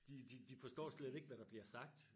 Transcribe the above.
De de de forstår slet ikke hvad der bliver sagt